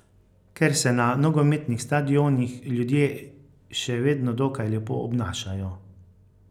Ker se na nogometnih stadionih ljudje še vedno dokaj lepo obnašajo.